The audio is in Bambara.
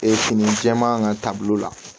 fini jɛman ka taa bolo la